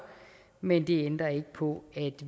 men det ændrer ikke på at